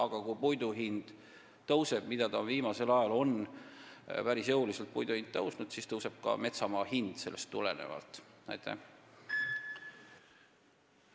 Ja kui puidu hind tõuseb – viimasel ajal on see päris jõuliselt tõusnud –, siis tõuseb sellest tulenevalt ka metsamaa hind.